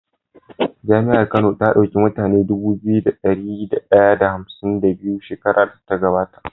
jami'ar kano ta dauki mutune Dubu biyu da dari daya da hamsin da biyu shekarar da ta gaba ta